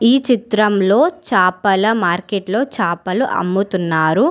ఈ చిత్రంలో చాపల మార్కెట్లో చాపలు అమ్ముతున్నారు.